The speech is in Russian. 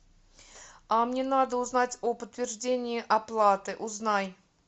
а мне надо узнать о подтверждении оплаты узнай